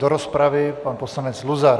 Do rozpravy pan poslanec Luzar.